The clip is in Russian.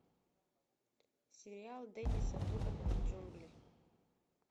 сериал денниса дугана джунгли